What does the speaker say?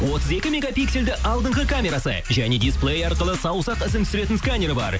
отыз екі мегапиксельді алдыңға камерасы және дисплей арқылы саусақ ізін түсіретін сканер бар